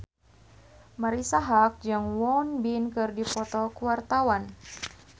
Marisa Haque jeung Won Bin keur dipoto ku wartawan